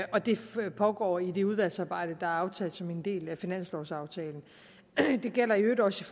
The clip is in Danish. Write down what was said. pågå i det udvalgsarbejde der er aftalt som en del af finanslovaftalen og det gælder i øvrigt også